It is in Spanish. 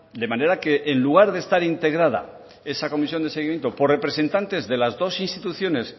de manera que en lugar de estar integrada esa comisión de seguimiento por representantes de las dos instituciones